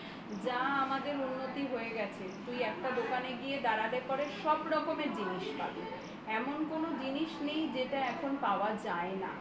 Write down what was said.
যা আমাদের উন্নতি হয়ে গেছে তুই একটা দোকানে গিয়ে দাঁড়ালে বাড়ির সব ধরনের জিনিস পাবি কোন জিনিস নেই যেটা এখন পাওয়া যায় না